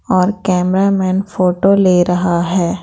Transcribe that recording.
और cameraman photo ले रहा है।